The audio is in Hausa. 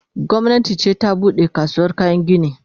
gwamnati ce ta buɗe kasuwar kayan gini